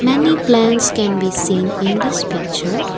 many plants can be seen in this picture